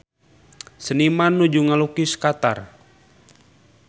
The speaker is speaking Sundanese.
Seniman nuju ngalukis Qatar